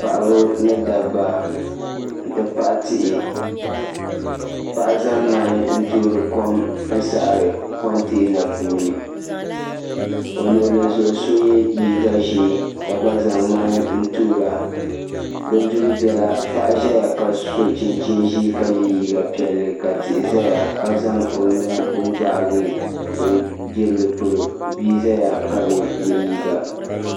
Paɣiba ni dabba nti pahi tihi paɣa zami n-toori kom n-sahiri kɔnteena puuni o luɣili zuɣu so ye liiga ʒee ka gba zaŋ ŋmani n-toora paɣa ʒaya ka so chinchin’ ʒee ka ye liiga piɛlli ka tihi zaya ka zaŋ o nuu n-gbaagi o jirili polo bia zaya ka bi ye liiga